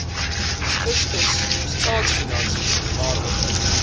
fiskus staatsfinansies waaronder